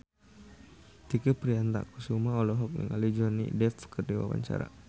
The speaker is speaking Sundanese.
Tike Priatnakusuma olohok ningali Johnny Depp keur diwawancara